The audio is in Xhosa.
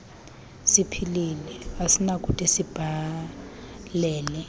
siphilile asinakude sibhalele